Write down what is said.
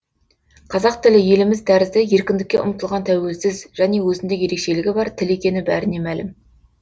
қазақ тілі еліміз тәрізді еркіндікке ұмтылған тәуелсіз және өзіндік ерекшелігі бар тіл екені бәріне мәлім